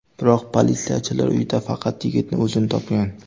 Biroq politsiyachilar uyda faqat yigitning o‘zini topgan.